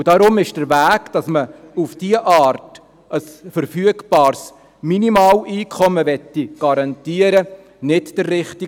Deshalb ist der Weg, dass man auf diese Art ein verfügbares Minimaleinkommen garantieren will, nicht der richtige.